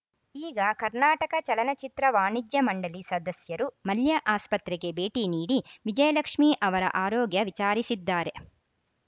ಈಗ ಕರ್ನಾಟಕ ಚಲನಚಿತ್ರ ವಾಣಿಜ್ಯ ಮಂಡಳಿ ಸದಸ್ಯರು ಮಲ್ಯ ಆಸ್ಪತ್ರೆಗೆ ಭೇಟಿ ನೀಡಿ ವಿಜಯಲಕ್ಷ್ಮೀ ಅವರ ಆರೋಗ್ಯ ವಿಚಾರಿಸಿದ್ದಾರೆ